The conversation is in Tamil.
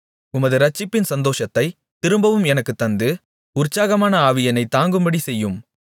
உமது இரட்சிப்பின் சந்தோஷத்தைத் திரும்பவும் எனக்குத் தந்து உற்சாகமான ஆவி என்னைத் தாங்கும்படி செய்யும்